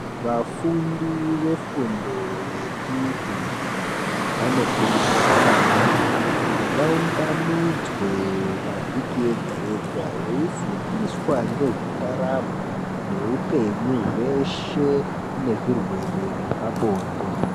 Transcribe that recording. Vafundi vefundo yechipiri vanokurudzirwa maningi kuti vaunganidzwe pavhiki yega-yega veifundiswa ngezvendaramo neupenyu zveshe nezvirwere zvepabonde.